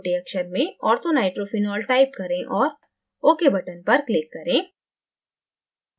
छोटे अक्षर में orthonitrophenol type करें और ok button पर click करें